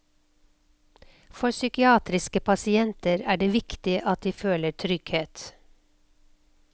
For psykiatriske pasienter er det viktig at de føler trygghet.